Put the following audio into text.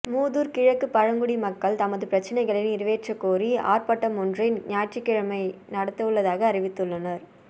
மூதுார் கிழக்கு பழங்குடி மக்கள் தமது பிரச்சனைகளை நிறைவேற்றக்கோரி ஆர்பாட்டமொன்றை ஞாயிற்றுக்கிழமை நடாத்தவுள்ளதாக அறிவித்துள்ளனர்